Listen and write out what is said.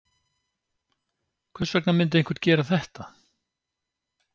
Hvers vegna myndi einhver gera þetta?